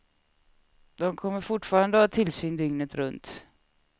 De kommer fortfarande att ha tillsyn dygnet runt.